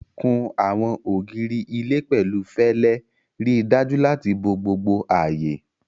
Kun àwọn ògiri ilé pẹ̀lú fẹlẹ, ríi dájú láti bo gbogbo ààyè.